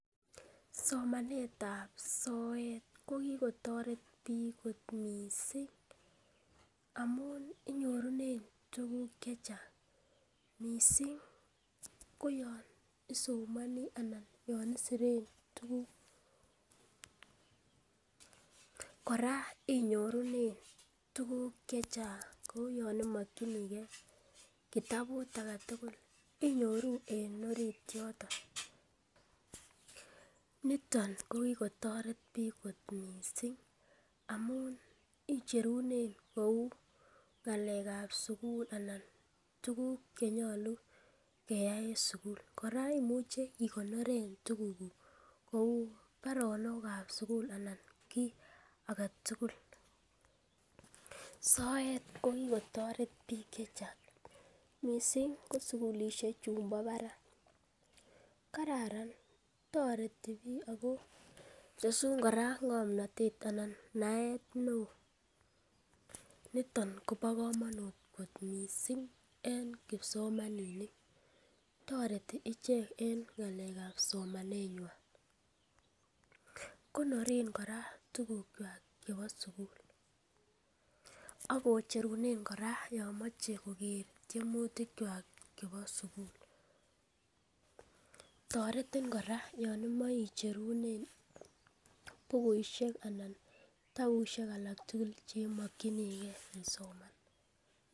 Somanetab soet ko kigotoret biik kot mising amun inyorunen tuguk che chang mising ko yon isomoni anan yon isiren tuguk. Kora inyorunen tuguk che chnag kou yon imokinige kitabut age tugul inyoru en orit yoto. Niton ko kigotoret biik kot mising amun icherunen kou ng'alekab sugul anan tuguk che nyolu keyai en sugul. Kora imuche ikoneren tugukuk kou baronok ab sugul anan kiy age tugul. SOet ko kigotoret biik che chang mising ko sugulishek chumbo barak. Kararan toreti biik ago tesun kora ng'omnatet anan naet neo niton kobo komonut kot miisng en kipsomaninik, toreti ichek en ng'alekab somaneywan. Koneren kora tugukywak chebo sugul ak kocherunen kora yon moche koger tiemutik kywak chebo sugul. Toretin kora yon imoe icherunen bukuishek anan kitabusiek alak tugul che imokinige isoman.